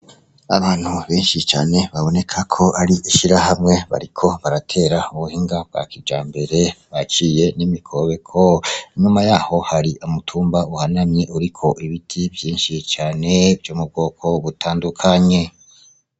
Abantu benshi cane baboneka ko ari ishirahamwe bariko baratera mubihinga bwa kijambere baciye n' imikobeko, inyuma yaho hari umutumba uhanamye uriko ibiti vyinshi cane vyo mubwoko butandukanye.